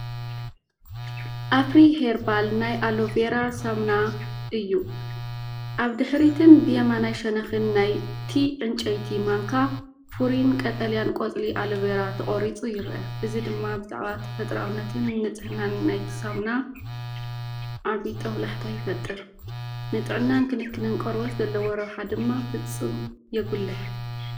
ኣፍሪ ሄርባል ናይ ኣሎቬራ ሳሙና እዩ። ኣብ ድሕሪትን ብየማናይ ሸነኽን ናይቲ ዕንጨይቲ ማንካ፡ ፍሩይን ቀጠልያን ቆጽሊ ኣሎቬራ ተቖሪጹ ይረአ። እዚ ድማ ብዛዕባ ተፈጥሮኣውነትን ንጽህናን ናይቲ ሳሙና ዓቢ ጦብላሕታ ይፈጥር። ንጥዕናን ክንክንን ቆርበት ዘለዎ ረብሓ ድማ ፍጹም የጉልሕ።